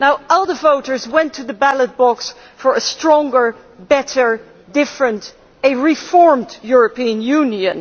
ALDE voters went to the ballot box for a stronger, better, different and reformed European Union.